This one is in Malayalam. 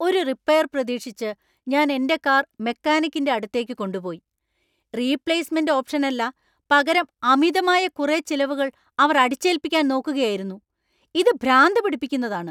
ഒരു റിപ്പെയർ പ്രതീക്ഷിച്ച് ഞാൻ എന്‍റെ കാർ മെക്കാനിക്കിന്‍റെ അടുത്തേക്ക് കൊണ്ടുപോയി, റീപ്ളേസ്മെന്‍റ് ഓപ്ഷനല്ല പകരം അമിതമായ കുറെ ചിലവുകൾ അവർ അടിച്ചേൽപ്പിക്കാൻ നോക്കുക യായിരുന്നു ! ഇത് ഭ്രാന്ത് പിടിപ്പിക്കുന്നതാണ്.